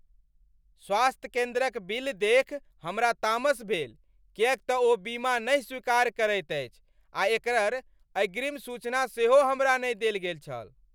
स्वास्थ्य केन्द्रक बिल देखि हमरा तामस भेल किएक तँ ओ बीमा नहि स्वीकार करैत अछि आ एकर अग्रिम सूचना सेहो हमरा नहि देल गेल छल।